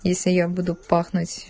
если я буду пахнуть